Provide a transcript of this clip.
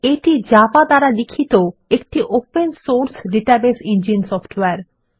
এটি জাভা দ্বারা লিখিত একটি open source database engine software